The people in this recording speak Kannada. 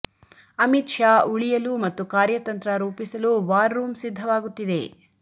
ಅಮಿತ್ ಶಾ ಉಳಿಯಲು ಮತ್ತು ಕಾರ್ಯತಂತ್ರ ರೂಪಿಸಲು ವಾರ್ ರೂಂ ಸಿದ್ಧವಾಗುತ್ತಿದೆ